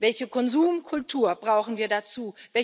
Welche Konsumkultur brauchen wir dazu?